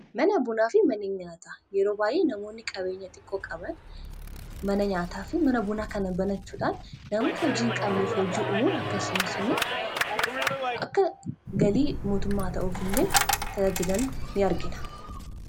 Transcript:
mana bunaa fi mana nyaataa yeroo baay'ee namoonni qabeenya xiqqoo qaban mana nyaataa fi mana bunaa kan banachuudhaan namoota hojii hin qabneef hojii umuun akkasumas immoo akka galii mootummaa ta'uuf illee talajilan in argina.